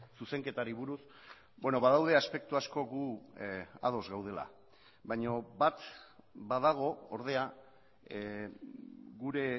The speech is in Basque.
zuzenketari buruz badaude aspektu asko gu ados gaudela baina bat badago ordea gure